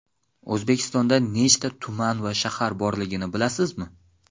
O‘zbekistonda nechta tuman va shahar borligini bilasizmi?.